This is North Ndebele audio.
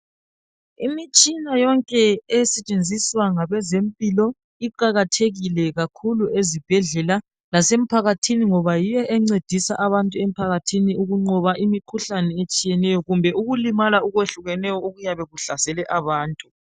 Imitshina yonke esetshenziswa ngabezempilo iqakathekile kakhulu ezibhedlela lasemphakathini ngoba yiyo encedisa abantu emphakathini ukunqoba imikhuhlane etshiyeneyo kumbe ukulimala okwehlukenyeo okuyabe kuhlasele abantu